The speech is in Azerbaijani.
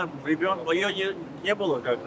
Yəni o, o yox idi.